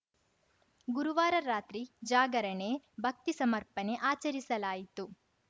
ಗುರುವಾರ ರಾತ್ರಿ ಜಾಗರಣೆ ಭಕ್ತಿ ಸಮರ್ಪಣೆ ಆಚರಿಸಲಾಯಿತು